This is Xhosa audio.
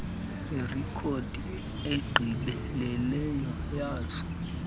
irekhodi egqibeleleyo yazo